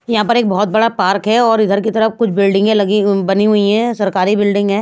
यहाँ पर एक बहुत बड़ा पार्क है और इधर की तरफ कुछ बिल्डिंगें लगी बनी हुई हैं सरकारी बिल्डिंग है।